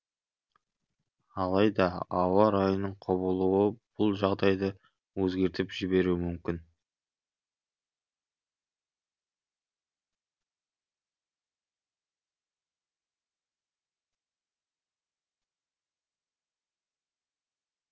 алайда ауа райының құбылуы бұл жағдайды өзгертіп жіберуі мүмкін